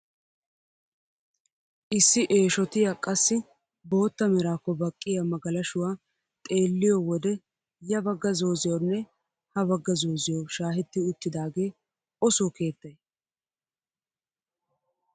Issi eeshshotiyaa qassi bootta meraakko baqqiyaa magalashshuwaa xeelliyoo wode ya bagga zooziyawunne ha bagga zooziyawu shaahetti uttidagee o soo keettay?